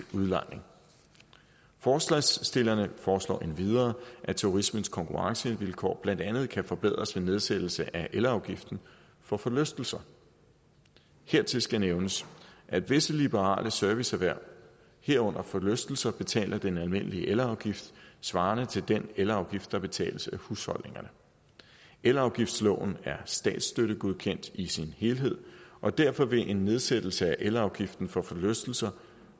udlejning forslagsstillerne foreslår endvidere at turismens konkurrencevilkår blandt andet kan forbedres ved nedsættelse af elafgiften for forlystelser hertil skal nævnes at visse liberale serviceerhverv herunder forlystelser betaler den almindelige elafgift svarende til den elafgift der betales af husholdningerne elafgiftsloven er statsstøttegodkendt i sin helhed og derfor vil en nedsættelse af elafgiften for forlystelser